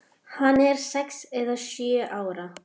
Hann er sex eða sjö ára.